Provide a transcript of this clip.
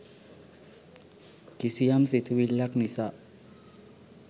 කිසියම් සිතිවිල්ලක් නිසා